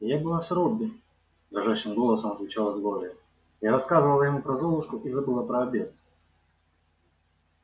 я была с робби дрожащим голосом отвечала глория я рассказывала ему про золушку и забыла про обед